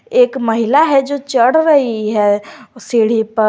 एक महिला है जो चढ़ रही है सीढ़ी पर।